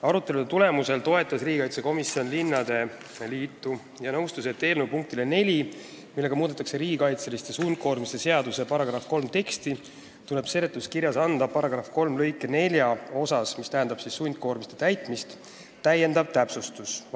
Arutelude tulemusel toetas riigikaitsekomisjon linnade liitu ja nõustus, et eelnõu punktile 4, millega muudetakse riigikaitseliste sundkoormiste seaduse § 3 teksti, tuleb seletuskirjas anda § 3 lõike 4 osas täiendav täpsustus.